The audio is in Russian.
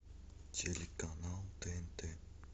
телеканал тнт